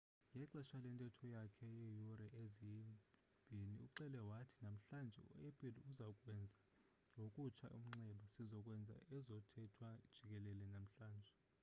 ngexesha lentetho yakhe yeeyure eziyi-2 uxele wathi namhlanje u-apple uzokuwenza ngokutsha umnxeba sizo kwenza ezothethwa jikelele namhlanje